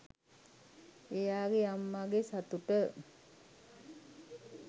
එයාගේ අම්මගේ සතුට